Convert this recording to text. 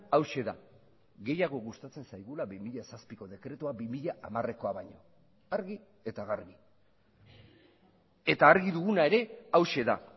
hauxe da gehiago gustatzen zaigula bi mila zazpiko dekretua bi mila hamarekoa baino argi eta garbi eta argi duguna ere hauxe da